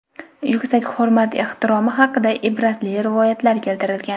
yuksak hurmat-ehtiromi haqida ibratli rivoyatlar keltirilgan.